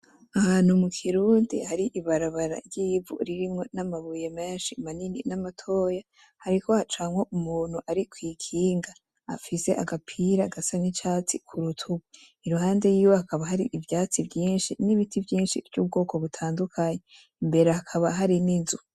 Ahantu mukirundi hari ibarabara ry'ivu , ririmwo n'amabuye menshi manini na matoya, hariko hacamwo umuntu ari kwikinga ;afise agapira gasa n'icatsi kurutugu . Iruhande yiwe hakaba hari ivyatsi vyinshi n'ibiti vyinshi vy'ubwoko butandukanye, imbere hakaba hari n'inzu;